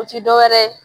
O ti dɔwɛrɛ ye